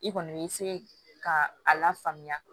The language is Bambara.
I kɔni bɛ se ka a lafaamuya